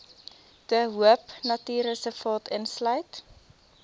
de hoopnatuurreservaat insluit